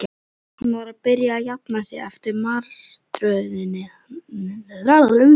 Hann var að byrja að jafna sig eftir martröðina.